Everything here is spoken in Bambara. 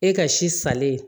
E ka si salen